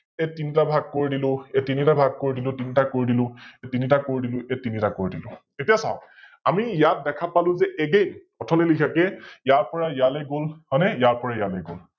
এই তিনিতা ভাগ কৰি দিলো, এই তিনিটা ভাগ কৰি দিলো, তিনটাক কৰি দিলো এই তিনিটাক কৰি দিলো এই তিনিটাক কৰি দিলো । এতিয়া চাওক, আমি ইয়াত দেখা পালো যে Again নিলিখাকৈ, ইয়াৰ পৰা ইয়ালৈ গল, হয়নে ইয়াৰ পৰা ইয়ালৈ গল